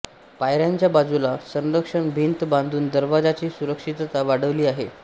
पायऱ्यांच्या बाजूला संरक्षक भिंत बांधून दरवाजाची सुरक्षितता वाढवली आहे